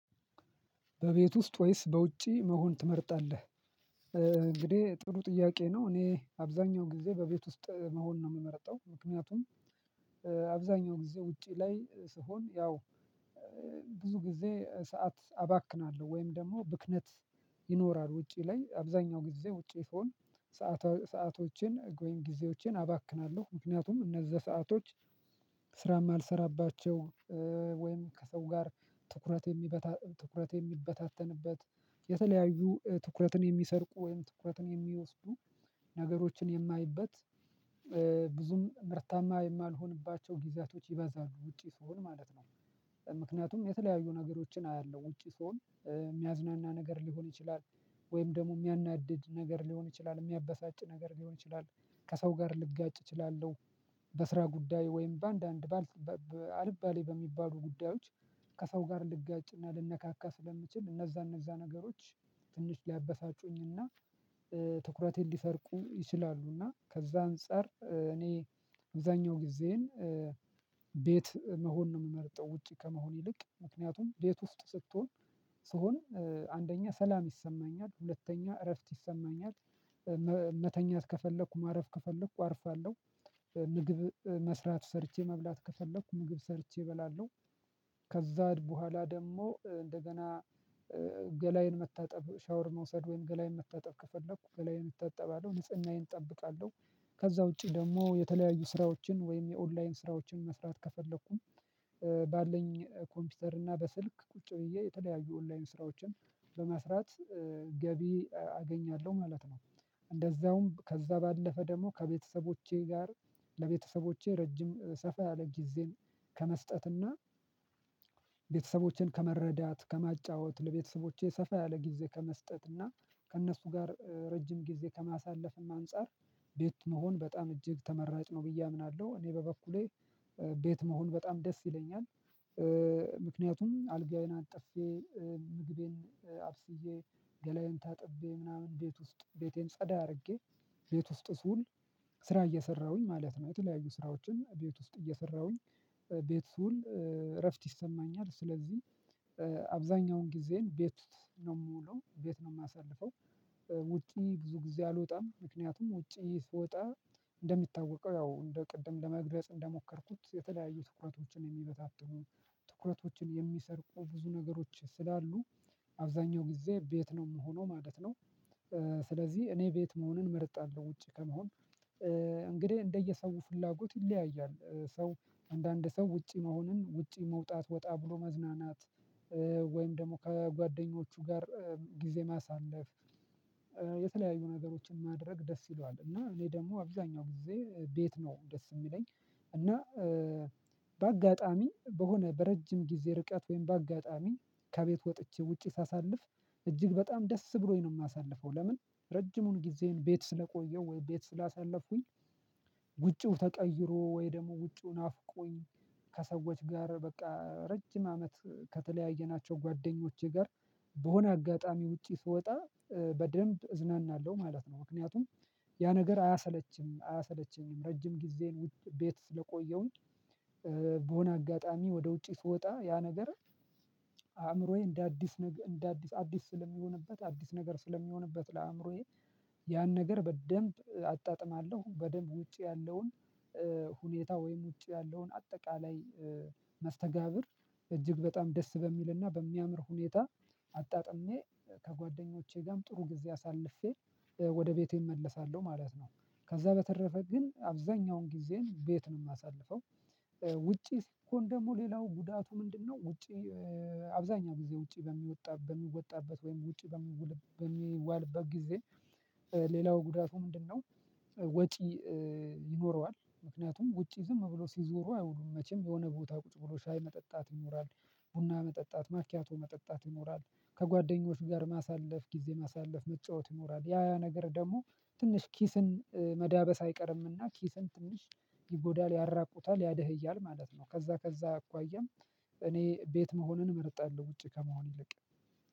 በቤት ውስጥ ወይስ በውጪ መሆን ትመርጣለህ እንግዲህ ጥሩ ጥያቄ ነው እኔ አብዛኛው ጊዜ በቤት ውስጥ መሆን ነው የምመርጠው ምክንያቱም አብዛኛው ጊዜ ውጪ ላይ ስሆን ያው ብዙ ጊዜ ሰዓት አባክናለሁ ወይም ደግሞ ብክነት ይኖራል ውጪ ላይ አብዛኛው ጊዜ ውጪ ስሆን ሰአቶችን ወይም ጊዜዎችን አባክናለሁ ምክንያቱም እነዛ ሰአቶች ስራም አልሰራባቸው ወይም ከሰው ጋር ትኩረት የሚበታተንበት የተለያዩ ትኩረትን የሚሰርቁ ወይም ትኩረትን የሚወስዱ ነገሮችን የማይበት ብዙም ምርታማ የማልሆንባቸው ጊዜያቶች ይበዛሉ ውጪ ስሆን ማለት ነው ምክንያቱም የተለያዩ ነገሮችን አያለሁ ውጪ ስሆን የሚያዝናና ነገር ሊሆን ይችላል ወይም ደግሞ የሚያናድድ ነገር ሊሆን ይችላል የሚያበሳጭ ነገር ሊሆን ይችላል ከሰው ጋር ልጋጭ እችላለሁ በስራ ጉዳይ ወይም በአንዳንድ በአልባሌ በሚባሉ ጉዳዮች ከሰው ጋር ልጋጭና ልንነካካ ስለምችል እነዛ እነዛ ነገሮች ትንሽ ሊያበሳጩኝና ትኩረቴን ሊሰርቁ ይችላሉና ከዛ አንፃር እኔ አግዛኛው ጊዜዬን ቤት መሆን ነው የምመርጠው ውጪ ከመሆን ይልቅ ምክንያቱም ቤት ውስጥ ስትሆን ስሆን አንደኛ ሰላም ይሰማኛል ሁለተኛ እረፍት ይሰማኛል መተኛት ከፈለኩ ማረፍ ከፈለኩ አርፋለሁ ምግብ መስራት ሰርቼ መብላት ከፈለኩ ምግብ ሰርቼ እበላለሁ ከዛም በኋላ ደግሞ እንደገና ገላዬን መታጠብ ሻወር መውሰድ ወይም ገላዬን መታጠብ ከፈለኩ ገላዬን እታጠባለሁ ንጽህናዬን እጠብቃለሁ ከዛ ውጪ ደግሞ የተለያዩ ስራዎችን ወይም የኦንላይን ስራዎችን መስራት ከፈለኩኝ ባለኝ ኮምፒውተር እና በስልክ ቁጭ ብዬ የተለያዩ ኦንላይን ስራዎችን በመስራት ገቢ አገኛለሁ ማለት ነው። እንደዛውም ከዛ ባለፈ ደግሞ ከቤተሰቦቼ ጋር ለቤተሰቦቼ ረጅም ሰፋ ያለ ጊዜን ከመስጠትና ቤተሰቦቼን ከመረዳት ከማጫወት ለቤተሰቦቼ ሰፋ ያለ ጊዜ ከመስጠት እና ከእነሱ ጋር ረጅም ጊዜ ከማሳለፍም አንፃር ቤት መሆን በጣም እጅግ ተመራጭ ነው ብዬ አምናለሁ እኔ በበኩሌ ቤት መሆን በጣም ደስ ይለኛል ምክንያቱም አልጋዬን አንጥፌ ምግቤን አብስዬ ገላዬን ታጥቤ ምናምን እንዴት ውስጥ ቤቴን ጸዳ አድርጌ ቤት ውስጥ ስውል ስራ እየሰራሁኝ ማለት ነው የተለያዩ ስራዎችን ቤት ውስጥ እየሰራሁኝ ቤት ስውል እረፍት ይሰማኛል ስለዚህ አብዛኛውን ጊዜን ቤት ነው የምውለው ቤት ነው የማሳልፈው ውጪ ብዙ ጊዜ አልወጣም ምክንያቱም ውጪ ስወጣ እንደሚታወቀው ያው እንደ ቅድም ለመግለጽ እንደሞከርኩት የተለያዩ ትኩረቶችን የሚበታተኑ ትኩረቶችን የሚሰርቁ ብዙ ነገሮች ስላሉ አብዛኛው ጊዜ ቤት ነው የምሆነው ማለት ነው ስለዚህ እኔ ቤት መሆንን መርጣለሁ ውጪ ከመሆን እንግዲህ እንደየሰው ፍላጎት ይለያያል ሰው አንዳንድ ሰው ውጪ መሆኑን ውጪ መውጣት ወጣ ብሎ መዝናናት ወይም ደግሞ ከጓደኞቹ ጋር ጊዜ ማሳለፍ የተለያዩ ነገሮችን ማድረግ ደስ ይለዋል እና እኔ ደግሞ አብዛኛው ጊዜ ቤት ነው ደስ የሚለኝ እና በአጋጣሚ በሆነ በረጅም ጊዜ ርቀት ወይም በአጋጣሚ ከቤት ወጥቼ ውጪ ሳሳልፍ እጅግ በጣም ደስ ብሎኝ ነው የማሳልፈው ለምን ረጅሙን ጊዜን ቤት ስለቆየው ወይ ቤት ስላሳለፍኩኝ ውጪው ተቀይሮ ወይ ደግሞ ውጪው ናፍቆኝ ከሰዎች ጋር በቃ ረጅም አመት ከተለያየናቸው ጓደኞቼ ጋር በሆነ አጋጣሚ ውጪ ስወጣ በደንብ እዝናናለሁ ማለት ነው ምክንያቱም ያ ነገር አያሰለችም አያሰለቸኝም ረጅም ጊዜን ቤት ስለቆየሁኝ በሆነ አጋጣሚ ወደ ውጪ ስወጣ ያ ነገር አእምሮዬ እንደ አዲስ እንደ አዲስ አዲስ ስለሚሆንበት አዲስ ነገር ስለሚሆንበት ለአእምሮዬ ያን ነገር በደንብ አጣጥማለሁ በደንብ ውጪ ያለውን ሁኔታ ወይም ውጪ ያለውን አጠቃላይ መስተጋብር እጅግ በጣም ደስ በሚልና በሚያምር ሁኔታ አጣጥሜ ከጓደኞቼ ጋም ጥሩ ጊዜ አሳልፌ ወደ ቤቴ እመለሳለሁ ማለት ነው ከዛ በተረፈ ግን አብዛኛውን ጊዜን ቤት ነው የማሳልፈው ውጪ ስቶን ደግሞ ሌላው ጉዳቱ ምንድነው ውጪ አብዛኛው ጊዜ ውጪ በሚወጣበት ወይም ውጪ በሚዋልበት ጊዜ ሌላው ጉዳቱ ምንድነው ወጪ ይኖረዋል ምክንያቱም ውጪ ዝም ብሎ ሲዞሩ አይውሉም መቼም የሆነ ቦታ ቁጭ ብሎ ሻይ መጠጣት ይኖራል ቡና መጠጣት ማኪያቶ መጠጣት ይኖራል ከጓደኞች ጋር ማሳለፍ ጊዜ ማሳለፍ መጫወት ይኖራል ያ ያ ነገር ደግሞ ትንሽ ኪስን መዳበስ አይቀርምና ኪስን ትንሽ ይጎዳል ያራቁታል ያደህያል ማለት ነው ከዛ ከዛ አኳያም እኔ ቤት መሆንን እመርጣለሁ ውጪ ከመሆን ይልቅ